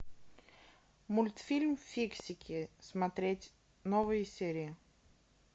мультфильм фиксики смотреть новые серии